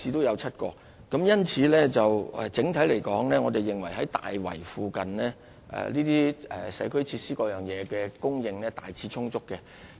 因此，整體來說，我們認為大圍周邊的社區設施供應量大致充足。